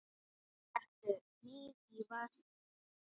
Settu hnífinn í vasa minn.